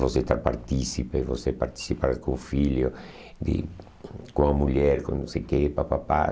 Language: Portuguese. De você estar partícipe, você participar com o filho, de com a mulher, com não sei o quê, pá, pá, pá.